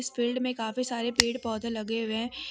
Field में काफी सारे पेड़ पौधे लगे हुए हैं।